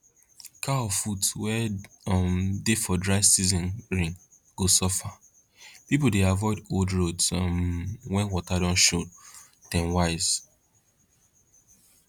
cow foot wey um dey for dry season rain go suffer people dey avoid old roads um when water don show dem wise